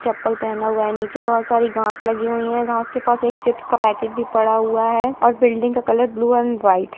चप्पल पहना हुआ है नीचे बहुत सारी घांस लगी हुई है घांस के पास एक चिप्स का पैकेट भी पड़ा हुआ है और बिल्डिंग का कलर ब्लू एंड व्हाइट है।